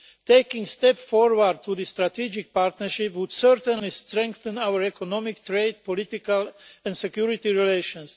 Taking steps forward to the strategic partnership would certainly strengthen our economic trade, political and security relations.